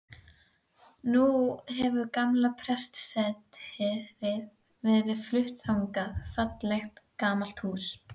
Nú hefur gamla prestssetrið verið flutt þangað, fallegt, gamalt hús.